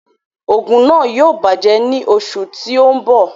Òògùn náà yóò bàjẹ́ ní oṣù tí ó ń bọ̀